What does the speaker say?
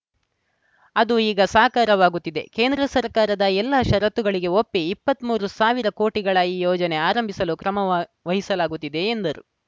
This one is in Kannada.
ಅದು ಈಗ ಸಾಕಾರವಾಗುತ್ತಿದೆ ಕೇಂದ್ರ ಸರ್ಕಾರದ ಎಲ್ಲ ಷರತ್ತುಗಳಿಗೆ ಒಪ್ಪಿ ಇಪ್ಪತ್ತ್ ಮೂರು ಸಾವಿರ ಕೋಟಿಗಳ ಈ ಯೋಜನೆ ಆರಂಭಿಸಲು ಕ್ರಮ ವಹಿಸಲಾಗುತ್ತಿದೆ ಎಂದರು